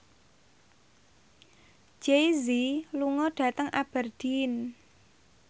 Jay Z lunga dhateng Aberdeen